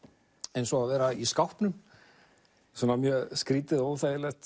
eins og að vera í skápnum svo skrýtið og óþægilegt